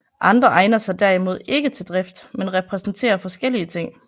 Andre egner sig derimod ikke til drift men repræsenterer forskellige ting